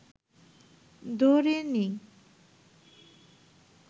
ধরে নিই